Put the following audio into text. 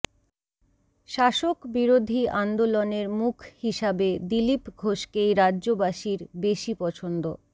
শাসক বিরোধী আন্দোলনের মুখ হিসাবে দিলীপ ঘোষকেই রাজ্যবাসীর বেশি পছন্দ